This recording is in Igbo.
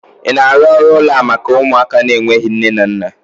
ị na-arụ ụlọ a maka ụmụaka n'enweghi nne na nna?